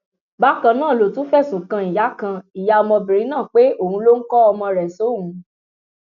bákan náà ló tún fẹsùn kan ìyá kan ìyá ọmọbìnrin náà pé òun ló ń kọ ọmọ rẹ sóun